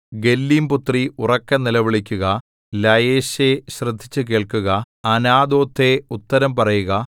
ഗല്ലീംപുത്രീ ഉറക്കെ നിലവിളിക്കുക ലയേശേ ശ്രദ്ധിച്ചു കേൾക്കുക അനാഥോത്തേ ഉത്തരം പറയുക